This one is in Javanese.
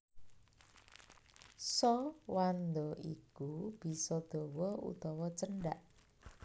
Sa wanda iku bisa dawa utawa cendhak